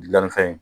Gilannifɛn